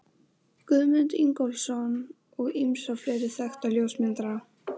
Guðmund Ingólfsson og ýmsa fleiri þekkta ljósmyndara.